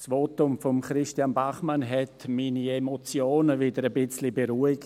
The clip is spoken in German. Das Votum von Christian Bachmann hat meine Emotionen wieder etwas beruhigt.